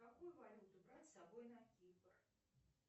какую валюту брать с собой на кипр